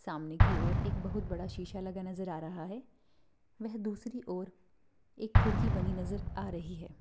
सामने की ओर एक बहुत बड़ा शीशा लगा नजर आ रहा है। वेह दूसरी ओर एक खिड़की बनी नजर आ रही है।